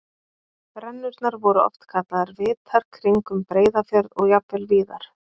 Brennurnar voru oft kallaðar vitar kringum Breiðafjörð og jafnvel víðar.